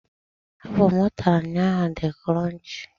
Apụl m ntara ụnyaahụ di kronchii.